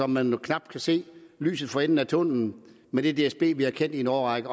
man kan knap se lyset for enden af tunnelen med det dsb vi har kendt i en årrække